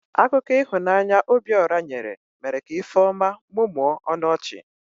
Akụkọ ihunanya Obiora nyere mere ka Ifeoma mụmụọ ọnụ ọchị.